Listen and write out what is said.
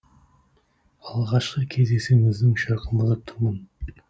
алғашқы кездесуіміздің шырқын бұзып тұрмын